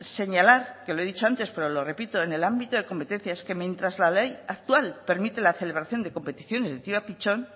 señalar lo he dicho antes pero lo repito que en el ámbito de competencias que mientras la ley actual permite la celebración de competiciones de tiro a pichón